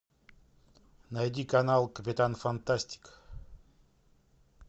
найди канал капитан фантастик